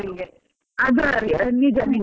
ಅದು ಸರಿ ನಿಜ ನಿಜ ನಾನು.